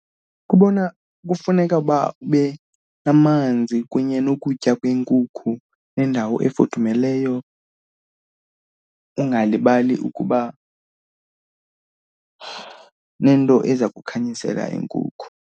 Kubona kufuneka uba ube namanzi kunye nokutya kweenkukhu nendawo efudumeleyo, ungalibali ukuba nento eza kukhanyisela iinkukhu.